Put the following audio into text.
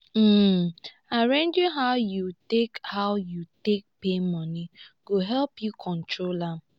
um arranging how yu take how yu take pay moni go help yu control am